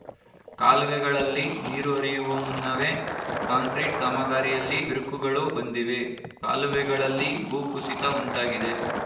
ಕಾಲುವೆಗಳಲ್ಲಿ ನೀರು ಹರಿಯುವ ಮುನ್ನವೇ ಕಾಂಕ್ರೀಟ್‌ ಕಾಮಗಾರಿಯಲ್ಲಿ ಬಿರುಕುಗಳೂ ಬಂದಿವೆ ಕಾಲುವೆಗಳಲ್ಲಿ ಭೂ ಕುಸಿತ ಉಂಟಾಗಿದೆ